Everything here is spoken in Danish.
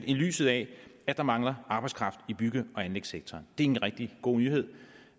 i lyset af at der mangler arbejdskraft i bygge og anlægssektoren det er en rigtig god nyhed